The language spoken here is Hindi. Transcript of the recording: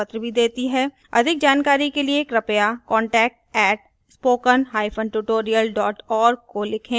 अधिक जानकारी के लिए कृपया contact @spokentutorial org को लिखें